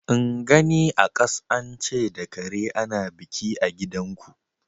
In gani a kas an ce da kare ana biki a gidanku.